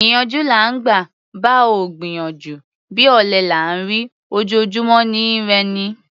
Ìyànjú là ńgbà; bá ò gbìyànjú, bí ọ̀lẹ là ńrí; ojojúmọ́ ni í rẹ'ni.